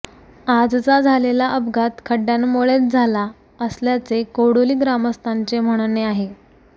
आजचा झालेला अपघात खड्डय़ांमुळेच झाला असल्याचे कोडोली ग्रामस्थांचे म्हणणे आहे